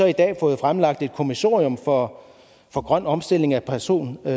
i dag fået fremlagt et kommissorium for for grøn omstilling af personbiler